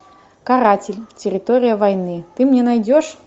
каратель территория войны ты мне найдешь